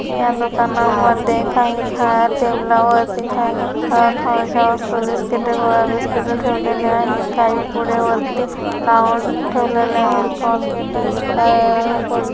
या दुकानामध्ये काही खाया टेबलावरती काही खाव्या खाव्या वस्तु बिस्किटे असे बिस्किटे ठेवलेले आहेत काही पुड्या वरती लाउन ठेवलेल्या आहेत कोलगेट आहे अ कोल --